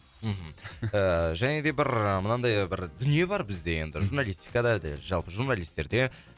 мхм және де бір мынандай бір дүние бар бізде енді журналистикада жалпы журналистерде